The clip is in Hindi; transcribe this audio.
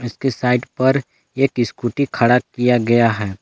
इसके साइड पर एक स्कूटी खड़ा किया गया है।